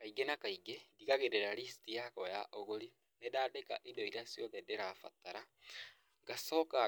Kaingĩ na kaingĩ, ndigagĩrĩra list yakwa ya ũgũri, nĩ ndandika indo iria ciothe ndĩrabatara, ngacoka